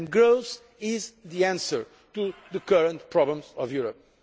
Growth is the answer to the current problems of Europe.